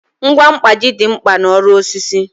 Ngwa mkpaji dị mkpa n'ọrụ osisi